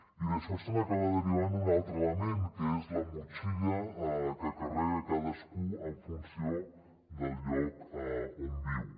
i d’això se n’acaba derivant un altre element que és la motxilla que carrega cadascú en funció del lloc on viu